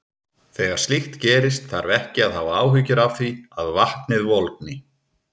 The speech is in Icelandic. Þegar slíkt gerist þarf ekki að hafa áhyggjur af því að vatnið volgni.